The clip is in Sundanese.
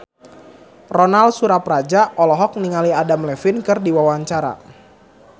Ronal Surapradja olohok ningali Adam Levine keur diwawancara